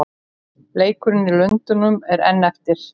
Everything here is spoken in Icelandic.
Leikurinn í Lundúnum er enn eftir.